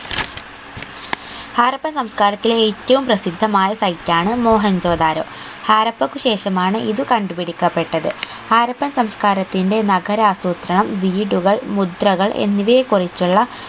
ഹാരപ്പൻ സംസ്ക്കാരത്തെ ഏറ്റവും പ്രസിദ്ധമായ site ആണ് മോഹൻജൊ ദാരോ ഹാരപ്പക്ക് ശേഷമാണ് ഇത് കണ്ടുപിടിക്കപെട്ടത് ഹാരപ്പൻ സംസ്ക്കാരത്തിന്റെ നാഗരാസൂത്രണം വീടുകൾ മുദ്രകൾ എന്നിവയെ കുറിച്ചുള്ള